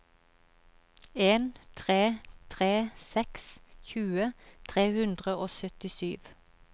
en tre tre seks tjue tre hundre og syttisju